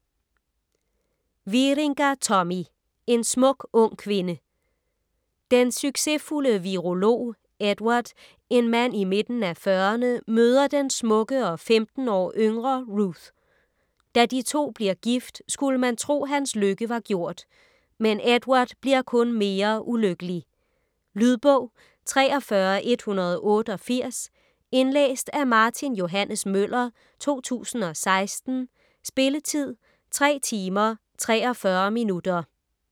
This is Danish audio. Wieringa, Tommy: En smuk ung kvinde Den succesfulde virolog Edward, en mand i midten af fyrrerne, møder den smukke og femten år yngre Ruth. Da de to bliver gift skulle man tro hans lykke var gjort. Men Edward bliver kun mere ulykkelig. Lydbog 43188 Indlæst af Martin Johannes Møller, 2016. Spilletid: 3 timer, 43 minutter.